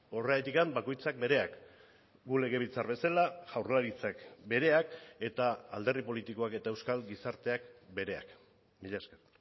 horregatik bakoitzak bereak gu legebiltzar bezala jaurlaritzak bereak eta alderdi politikoak eta euskal gizarteak bereak mila esker